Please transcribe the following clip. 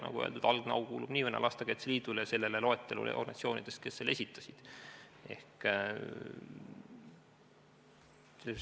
Nagu öeldud, algne au kuulub nii või naa Lastekaitse Liidule ja loetletud organisatsioonidele, kes selle esitasid.